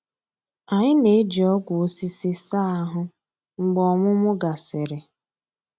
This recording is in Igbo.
Anyị na-eji ọgwụ osisi saa ahụ mgbe ọmụmụ gasịrị.